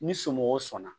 Ni somɔgɔw sɔnna